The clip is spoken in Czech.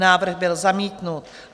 Návrh byl zamítnut.